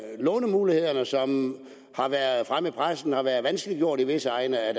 lånemulighederne som har været fremme i pressen og som har været vanskeliggjort i visse egne af